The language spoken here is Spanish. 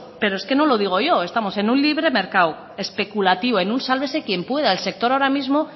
pero es que no lo digo yo estamos en un libre mercado especulativo en un sálvese quien pueda el sector ahora mismo